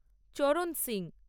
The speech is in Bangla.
চরণ সিং